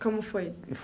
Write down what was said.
Como foi?